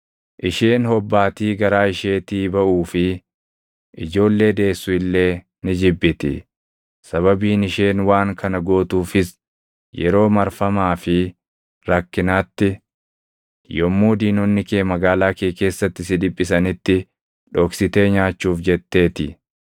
isheen hobbaatii garaa isheetii baʼuu fi ijoollee deessu illee ni jibbiti. Sababiin isheen waan kana gootuufis yeroo marfamaa fi rakkinaatti, yommuu diinonni kee magaalaa kee keessatti si dhiphisanitti dhoksitee nyaachuuf jettee ti.